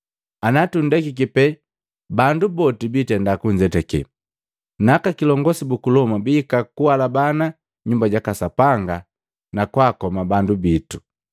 Anatundekiki pe bandu boti biitenda kunzetake, na Aka kilongosi buku Loma bihika kualabana Nyumba jaka Sapanga na kwa akoma bandu bitu.”